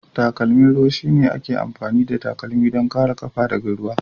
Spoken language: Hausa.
Takalmin ruwan shine ake amfani da takalma don kare ƙafa daga ruwa.